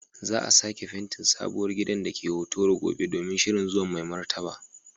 Za a sake fentin sabuwar gidan da ke Hotoro gobe domin shirin zuwan Mai Martaba.